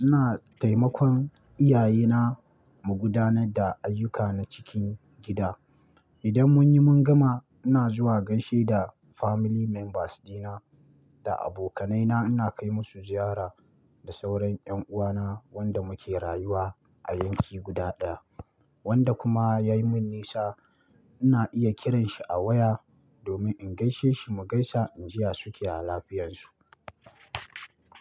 ina taimakon iyaye na mu gudanar da ayuka na cikin gida. Idan mun yi mun gama, ina zuwa gaishe da family members dina, da abokanai na, ina kai musu ziyara da sauran ƴan uwa na wanda muke rayuwa a yanki guda ɗaya. Wanda kuma ya yi mun nisa ina iya kiran shi a waya domin in gaishe shi mu gaisa in jiya su ke a lafiyan su.